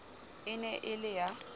e ne e le ya